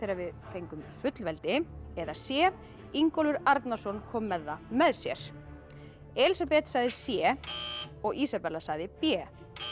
við fengum fullveldi eða c Ingólfur Arnarson kom með það með sér Elísabet sagði c og Ísabella sagði b